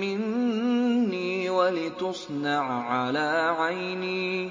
مِّنِّي وَلِتُصْنَعَ عَلَىٰ عَيْنِي